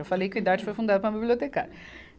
Eu falei que o Idarte foi fundado por uma bibliotecária.